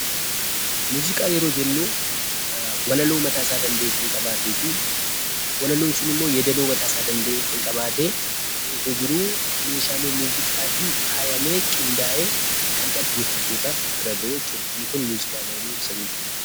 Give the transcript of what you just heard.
Muuziqaa yeroo jennuu walaloo mataasaa danda'e kan qabaatee fi walaloon sunimmoo yeedaloo mataasaa danda'e kan qabaatee ta'ee osoo jiruu meeshaalee muuziqaatiin faayamee, qindaa'ee kan dhaggeeffattootaaf bira ga'uu jechuudha. Inni kun muuziqaa jedhanii ibsamuun ni danda'ama.